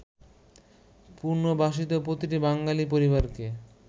পুনর্বাসিত প্রতিটি বাঙালি পরিবারকে